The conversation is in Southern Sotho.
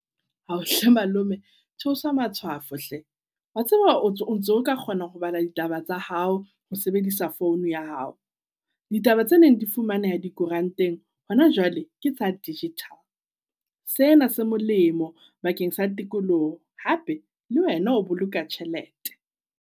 Ao hle malome theose matshwafo hle, wa tseba o ntso. Ka kgona ho bala ditaba tsa hao ho sebedisa phone ya hao ditaba tse neng di fumaneha dikoranteng hona jwale ke sa digital. Sena se molemo bakeng sa tikoloho hape le wena o boloka tjhelete.